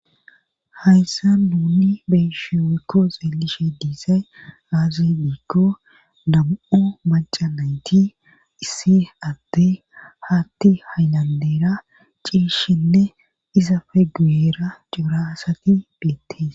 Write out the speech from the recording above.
hayssa nuni beeshe woykko xeelishe diisay aazi diikko dam7o maca nayti issi atte haatti haynandeera ciishshinne iza fe guyera coraasati beettees